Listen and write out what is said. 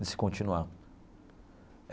de se continuar.